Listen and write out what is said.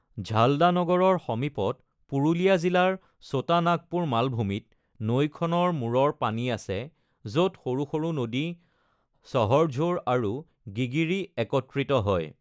ঝাল্ডা নগৰৰ সমীপত পুৰুলীয়া জিলাৰ চোটা নাগপুৰ মালভূমিত নৈখনৰ মূৰৰ পানী আছে, য’ত সৰু সৰু নদী সহৰঝোৰ আৰু গিগিৰি একত্ৰিত হয়।